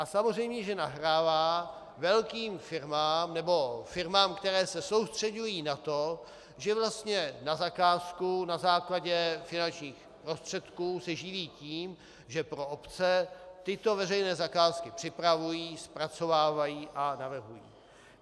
A samozřejmě že nahrává velkým firmám nebo firmám, které se soustřeďují na to, že vlastně na zakázku na základě finančních prostředků se živí tím, že pro obce tyto veřejné zakázky připravují, zpracovávají a navrhují.